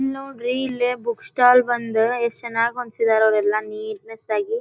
ಇಲ್ಲಿ ನೋಡ್ರಿ ಇಲ್ಲಿ ಬುಕ್ ಸ್ಟಾಲ್ ಬಂದ್ ಎಷ್ಟ ಚನ್ನಾಗಿ ಹೊಂದ್ಸಿದಾರ ಅವೆಲ್ಲಾ ನೀಟ್ ನೆಸ್ ಆಗಿ.